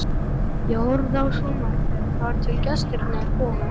Ég horfði á sjónvarpið þar til gestirnir komu.